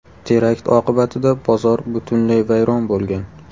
Terakt oqibatida bozor butunlay vayron bo‘lgan.